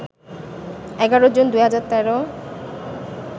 ১১ June ২০১৩